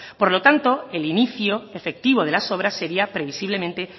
por lo tanto el inicio efectivo de las obras sería previsiblemente